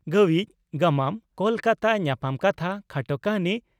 "ᱜᱟᱹᱣᱤᱡ' (ᱜᱟᱢᱟᱢ) ᱠᱚᱞᱠᱟᱛᱟ ᱧᱟᱯᱟᱢ ᱠᱟᱛᱷᱟ (ᱠᱷᱟᱴᱚ ᱠᱟᱹᱦᱱᱤ)